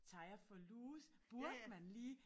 Tager jeg for loose burde man lige